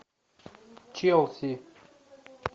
челси